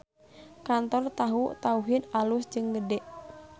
Kantor Tahu Tauhid alus jeung gede